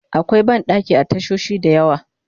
akwai banɗaki a tashoshi da yawa